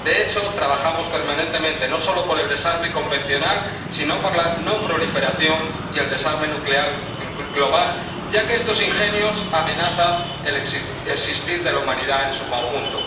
De hecho, trabajamos permanentemente no solo por el desarme convencional, sino por la no proliferación y el desarme nuclear global, ya que estos ingenios amenazan el existir de la humanidad en su conjunto.